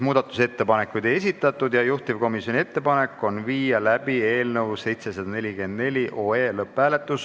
Muudatusettepanekuid ei esitatud ja juhtivkomisjoni ettepanek on viia läbi eelnõu 744 lõpphääletus.